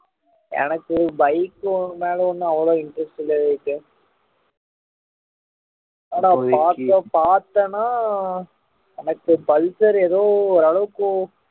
எனக்கு bike மேல ஒண்ணும் அவ்ளோ interest இல்ல எனக்கு ஆனா பாத்தோம் பாத்தன்னா எனக்கு pulsar எதோ ஒரளவுக்கு